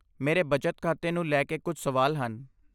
ਮੇਰੇ ਬਚਤ ਖਾਤੇ ਨੂੰ ਲਈ ਕੇ ਕੁਝ ਸਵਾਲ ਹਨ।